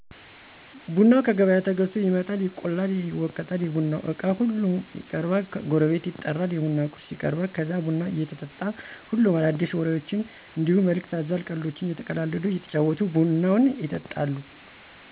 ቡናው ከገበያ ተገዝቶ ይመጣል፣ ይቆላል፣ ይወቀጣል፣ የቡናው እቃ ሁሉም ይቀረባል፣ ጎረቤት ይጠራል፣ የቡና ቁርስ ይቀረባል ከዛ ቡናው እየተጠጣ ሁሉም አዳዲሲ ወሬዎችን እንዲሁ መልክት አዘል ቀልዶችን እየተቀላለዱ እየተጫዎቱ ቡናውን ይጠጣሉ።